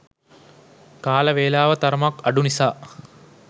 කාල වෙලාව තරමක් අඩු නිසා